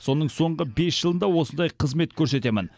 соның соңғы бес жылында осындай қызмет көрсетемін